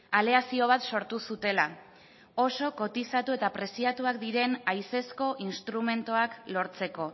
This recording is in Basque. aleazio bat sortu zutela oso kotizatu eta preziatuak diren haizezko instrumentuak lortzeko